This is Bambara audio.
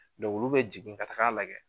Dɔnku olu be jigin ka taga lajɛ